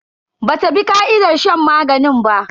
Bata bi ka'idar shan maganin ba.